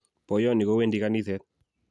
poiyonnyi ko wendi kaniset